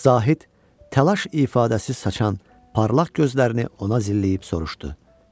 Zahid təlaş ifadəsi saçan parlaq gözlərini ona zilləyib soruşdu: